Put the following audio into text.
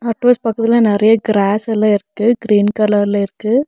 Hut house பக்கத்துல நறைய grass எல்லா இருக்கு கிரீன் கலர்ல இருக்கு.